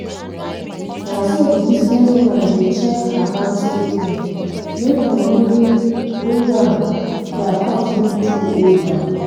as bank come come reduce money wey dem da cut from dia cutomer aza na so complain no come yapa